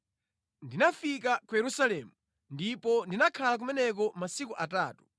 Ndinafika ku Yerusalemu, ndipo ndinakhala kumeneko masiku atatu.